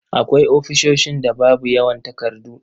Akwai ofisoshin da babu yawan takardu.